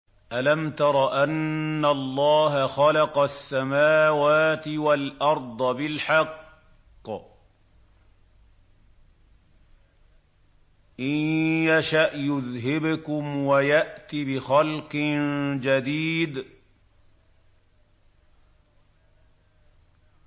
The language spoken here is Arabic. أَلَمْ تَرَ أَنَّ اللَّهَ خَلَقَ السَّمَاوَاتِ وَالْأَرْضَ بِالْحَقِّ ۚ إِن يَشَأْ يُذْهِبْكُمْ وَيَأْتِ بِخَلْقٍ جَدِيدٍ